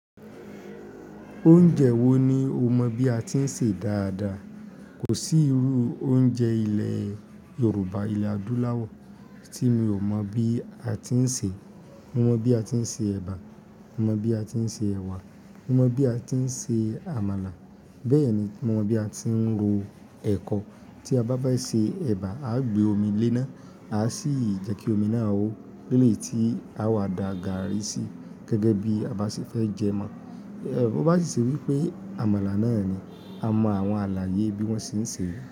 Oúnjẹ wo ni o mọ bí a ti ń sè dáadáa? Kò sí irú oúnjẹ ilẹ̀ Yorùbá ilẹ̀ adúláwọ̀ tí mi ò mọ̀ bí a ti ń ṣe. Mo mọ bí a ti ń ṣe ẹ̀bà, mo mọ bí a ti ń ṣe ẹ̀wà, mo mọ bí a ti ń ṣe àmàlà. Bẹ́ẹ̀ni mo mọ bí a ti ń ro ẹ̀kọ. Tí a bá fẹ́ ṣe ẹ̀bà, aa gbé omi léná, aa sì jẹ́ kí omi náà o, lélè yí tí aa wá da gààrí sí gẹ́gẹ́ bíi a bá ṣe fẹ́ jẹ mọ́. Bó bá sì ṣe wí pé àmàlà náà ni, a mọ àwọn àlàyé bí wọ́n ṣe ń ṣe.